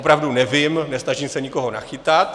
Opravdu nevím, nesnažím se nikoho nachytat.